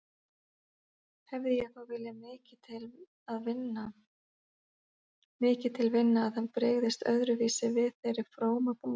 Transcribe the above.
Hefði ég þó viljað mikið til vinna að hann brygðist öðruvísi við þeirri frómu bón.